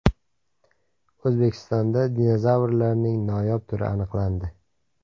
O‘zbekistonda dinozavrlarning noyob turi aniqlandi.